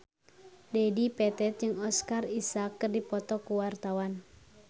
Dedi Petet jeung Oscar Isaac keur dipoto ku wartawan